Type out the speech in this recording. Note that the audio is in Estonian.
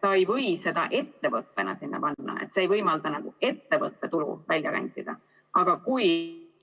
Ta ei või seda ettevõttena sinna panna, see ei võimalda nagu ettevõtte tulu välja rentida, aga kui